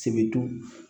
Sebedon